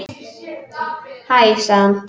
Hæ sagði hann.